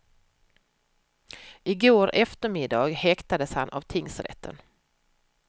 I går eftermiddag häktades han av tingsrätten.